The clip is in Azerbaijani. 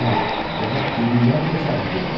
Ya, demək dəlillər keçərlidir, öyləmi?